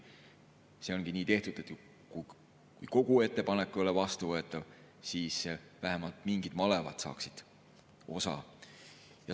See ongi nii tehtud, et kui kogu ettepanek ei ole vastuvõetav, siis vähemalt mingid malevad saaksid osa.